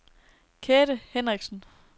Kathe Henriksen